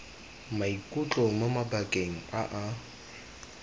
maikutlo mo mabakeng a a